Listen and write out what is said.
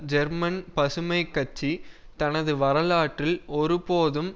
German பசுமை கட்சி தனது வரலாற்றில் ஒரு போதும்